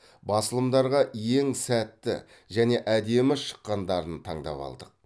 басылымдарға ең сәтті және әдемі шыққандарын таңдап алдық